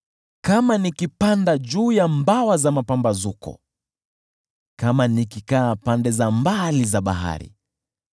Kama nikipanda juu ya mbawa za mapambazuko, kama nikikaa pande za mbali za bahari,